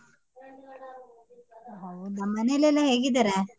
ಹೌದಾ ಮನೇಲಿ ಎಲ್ಲ ಹೇಗಿದಾರೆ?